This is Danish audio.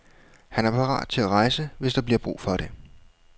Han er parat til at rejse, hvis der bliver brug for det.